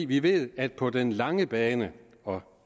vi ved at på den lange bane og